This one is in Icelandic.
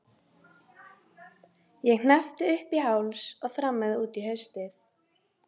Ég hneppti upp í háls og þrammaði út í haustið.